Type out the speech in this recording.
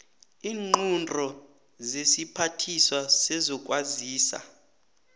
iinqunto zesiphathiswa sezokwazisa